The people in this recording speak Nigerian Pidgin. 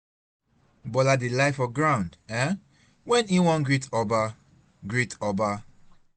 Bola dey lie for ground um wen he wan greet Oba greet Oba